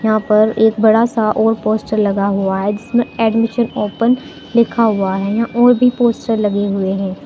यहां पर एक बड़ा सा और पोस्टर लगा हुआ है जिसमें एडमिशन ओपन लिखा हुआ है यहां और भी पोस्टर लगे हुए हैं।